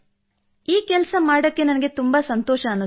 ಈ ಕೆಲಸ ಮಾಡುವುದಕ್ಕೆ ನನಗೆ ಸಂತೋಷವೆನಿಸಿತು